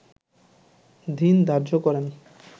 দিন ধার্য করেন